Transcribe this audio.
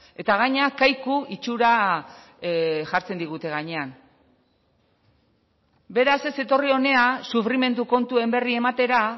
eta gainera kaiku itxura jartzen digute gainean beraz ez etorri hona sufrimendu kontuen berri ematera